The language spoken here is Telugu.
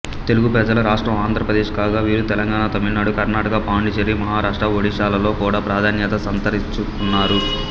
తెలుగు ప్రజల రాష్ట్రం ఆంధ్రప్రదేశ్ కాగా వీరు తెలంగాణ తమిళనాడు కర్ణాటక పాండిచ్చేరి మహారాష్ట్ర ఒడిషాలలో కూడా ప్రాధాన్యత సంతరించుకున్నారు